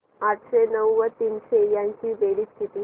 आठशे नऊ व तीनशे यांची बेरीज किती